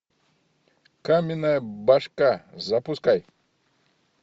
каменная башка запускай